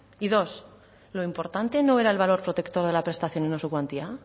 y dos lo importante no era el valor protector de la prestación y no su cuantía